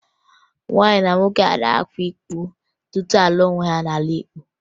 Nwaanyị na nwoke agaghị akwa iko tupu ha alụọ onwe ha n'omenala Igbo